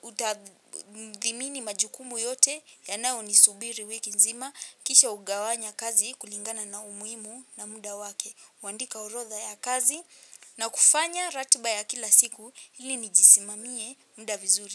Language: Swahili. hutadhimini majukumu yote ya nayo ni subiri wiki nzima. Kisha hugawanya kazi kulingana na umuhimu na muda wake. Kwandika orodha ya kazi na kufanya ratba ya kila siku ili nijisimamie muda vizuri.